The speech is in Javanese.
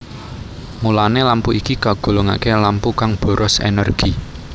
Mulané lampu iki kagolongaké lampu kang boros énérgi